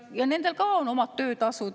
Ja nendel ka on oma töötasu.